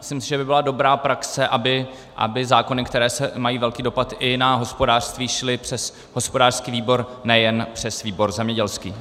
Myslím si, že by byla dobrá praxe, aby zákony, které mají velký dopad i na hospodářství, šly přes hospodářský výbor, nejen přes výbor zemědělský.